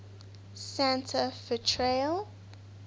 santa fe trail